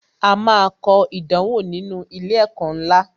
A máa kọ ìdánwò nínú ilé ẹ̀kọ́ ńlá